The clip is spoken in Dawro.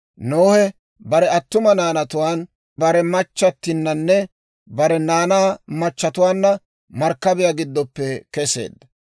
Nohe bare attuma naanatuwaan, bare machchattinanne bare naanaa machchetuwaanna markkabiyaa giddoppe kesseedda.